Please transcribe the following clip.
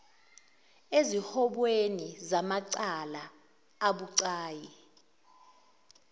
eziwombeni zamacala abucayi